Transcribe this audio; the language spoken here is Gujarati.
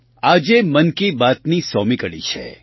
આજે મન કી બાતની સોમી કડી છે